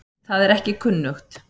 Það er ekki kunnugt.